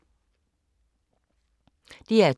DR2